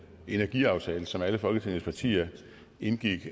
energiaftale som alle folketingets partier indgik